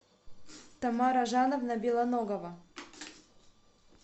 тамара жановна белоногова